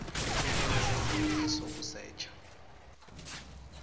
ku tirhisa nsindziso ku secha